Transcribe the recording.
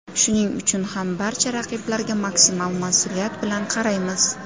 Shuning uchun ham barcha raqiblarga maksimal mas’uliyat bilan qaraymiz.